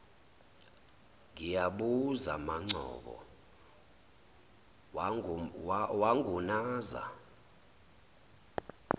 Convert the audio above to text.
ngiyabuza mangcobo wangunaza